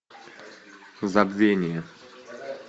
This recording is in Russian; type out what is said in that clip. забвение